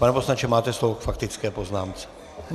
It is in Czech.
Pane poslanče, máte slovo k faktické poznámce.